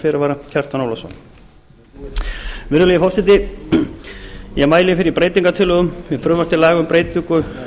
fyrirvara kjartan ólafsson virðulegi forseti ég mæli fyrir breytingartillögum við frumvarp til laga um breytingu